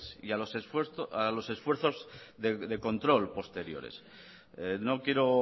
y a los esfuerzos de control posteriores no quiero